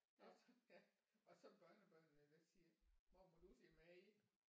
Og så ja og så børnebørnene der siger mormor du siger mad